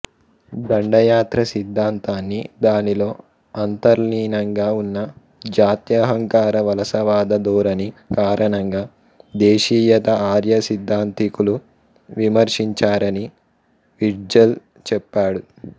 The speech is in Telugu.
దండయాత్ర సిద్ధాంతాన్ని దానిలో అంతర్లీనంగా ఉన్న జాత్యహంకార వలసవాద ధోరణి కారణంగా దేశీయత ఆర్య సిద్ధాంతీకులు విమర్శించారని విట్జెల్ చెప్పాడు